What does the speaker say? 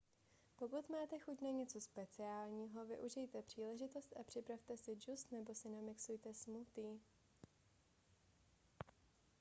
pokud máte chuť na něco speciálního využijte příležitost a připravte si džus nebo si namixujte smoothie